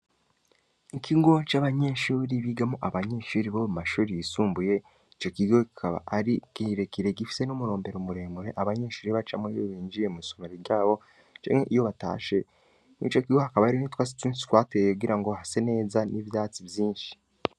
Ikingo c'abanyenshuri bigamo abanyenshuri bo mu mashuri yisumbuye ico kigo gikaba ari giirekire gifise n'umurombero umuremure abanyenshuri bacamwobiwe binjiye mu'somoro ryabo janke iyo batashe n'i co kigo hakaba ari n'itwa situnsi twateyekugira ngo hase neza n'ivyatsi vyinshi.